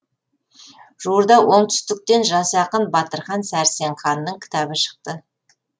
жуырда оңтүстіктен жас ақын батырхан сәрсенханның кітабы шықты